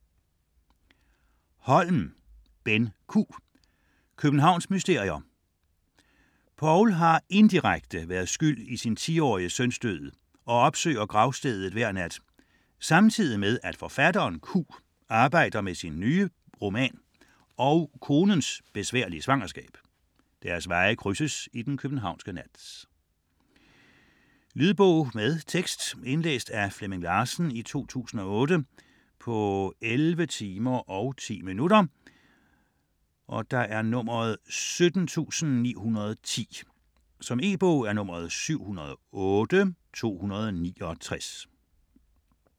Holm, Benn Q.: Københavns mysterier Paul har indirekte været skyld i sin 10-årige søns død og opsøger gravstedet hver nat samtidig med at forfatteren Q arbejder med sin nye roman og konens besværlige svangerskab. Deres veje krydses i den københavnske nat. Lydbog med tekst 17910 Indlæst af Flemming Larsen, 2008. Spilletid: 11 timer, 10 minutter. E-bog 708269 2008.